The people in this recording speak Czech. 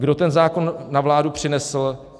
Kdo ten zákon na vládu přinesl?